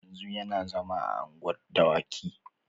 Yanzu yana zama a unguwar dawaki.